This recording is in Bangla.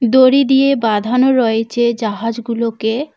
দড়ি দিয়ে বাঁধানো রয়েছে জাহাজগুলোকে।